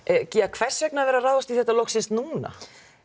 hvers vegna er verið að ráðast í þetta loksins núna